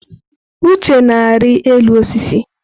Uche na-arị elu osisi.